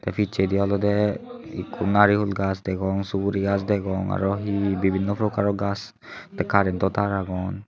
te picchedi olode ekko nariyul gach degong suguri gach degong arow he he bibinno prokaro gach te karento tar agon.